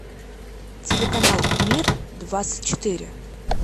телеканал мир двадцать четыре